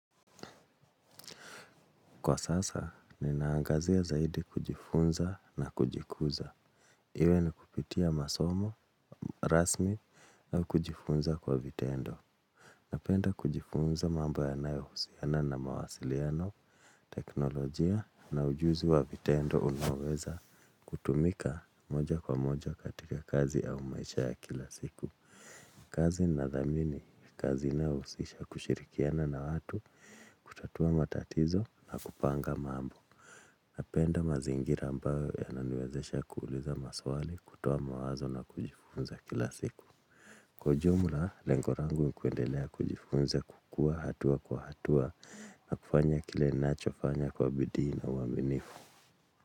Kwa sasa, ninaangazia zaidi kujifunza na kujikuza. Iwe ni kupitia masomo, rasmi, au kujifunza kwa vitendo. Napenda kujifunza mambo yanayo husiana na mawasiliano, teknolojia na ujuzi wa vitendo unaoweza kutumika moja kwa moja katika kazi au maisha ya kila siku. Kazi na dhamini, kazi inayo husisha kushirikiana na watu, kutatua matatizo na kupanga mambo. Napenda mazingira ambayo yananiwezesha kuuliza maswali, kutoa mawazo na kujifunza kila siku. Kwa ujumla, lengo langu nikuendelea kujifunza kukua hatua kwa hatua na kufanya kile ninachofanya kwa bidii na uaminifu.